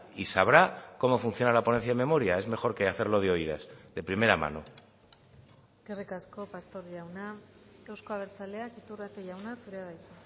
y sabrá cómo funciona la ponencia de memoria es mejor que hacerlo de oídas de primera mano eskerrik asko pastor jauna euzko abertzaleak iturrate jauna zurea da hitza